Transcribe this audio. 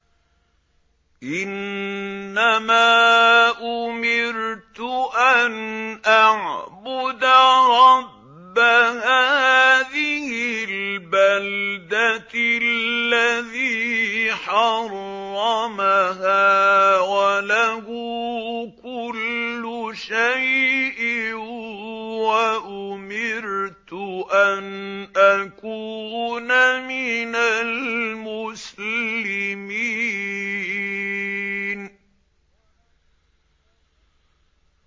إِنَّمَا أُمِرْتُ أَنْ أَعْبُدَ رَبَّ هَٰذِهِ الْبَلْدَةِ الَّذِي حَرَّمَهَا وَلَهُ كُلُّ شَيْءٍ ۖ وَأُمِرْتُ أَنْ أَكُونَ مِنَ الْمُسْلِمِينَ